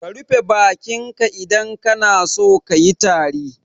Ka rufe bakin ka idan kana so kayi tari.